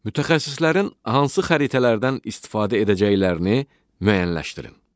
Mütəxəssislərin hansı xəritələrdən istifadə edəcəklərini müəyyənləşdirin.